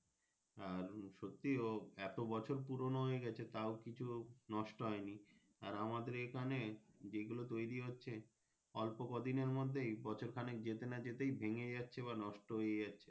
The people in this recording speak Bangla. আর ও সত্যি ও এত বছর পুরোনো হয়ে গাছে তাও কিছু নষ্ট হয়নি আর আমাদের এখানে তৈরি হচ্ছে অল্প কদিনের মধ্যে বছর খানিক যেতে না যেতেই ভেঙে যাচ্ছে বা নষ্ট হয়ে যাচ্ছে।